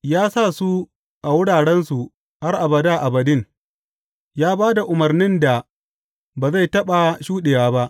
Ya sa su a wurarensu har abada abadin; ya ba da umarnin da ba zai taɓa shuɗe ba.